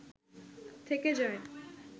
থেকে যায়